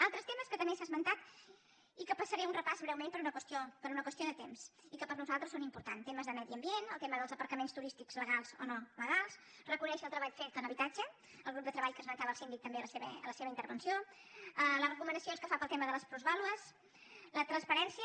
altres temes que també s’ha esmentat i que en faré un repàs breument per una qüestió de temps i que per nosaltres són importants temes de medi ambient el tema dels apartaments turístics legals o no legals reconèixer el treball fet en habitatge el grup de treball que esmentava el síndic també en la seva intervenció les recomanacions que fa pel tema de les plusvàlues la transparència